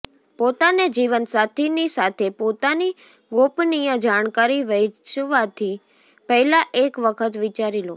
પોતાના જીવનસાથી ની સાથે પોતાની ગોપનીય જાણકારી વહેંચવાથી પહેલા એક વખત વિચારી લો